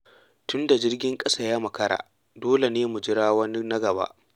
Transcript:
Tunda jirgin kasa ya makara, dole ne mu jira wani na gaba.